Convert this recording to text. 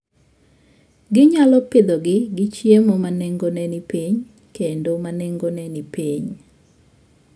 Ginyalo pidhogi gi chiemo ma nengone ni piny kendo ma nengone ni piny.